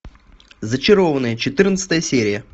зачарованные четырнадцатая серия